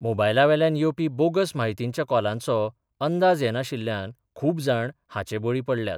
मोबायलावेल्यान येवपी बोगस म्हायतींच्या कॉलांचो अंदाज येनाशिल्ल्यान खूब जाण हाचे बळी पडल्यात.